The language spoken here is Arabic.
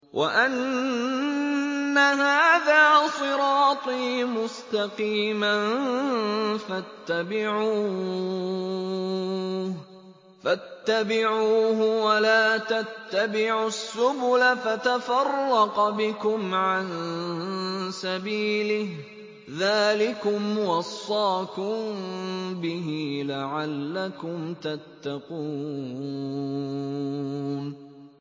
وَأَنَّ هَٰذَا صِرَاطِي مُسْتَقِيمًا فَاتَّبِعُوهُ ۖ وَلَا تَتَّبِعُوا السُّبُلَ فَتَفَرَّقَ بِكُمْ عَن سَبِيلِهِ ۚ ذَٰلِكُمْ وَصَّاكُم بِهِ لَعَلَّكُمْ تَتَّقُونَ